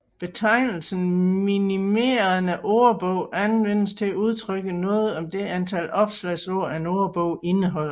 Betegnelsen minimerende ordbog anvendes til at udtrykke noget om det antal opslagsord en ordbog indeholder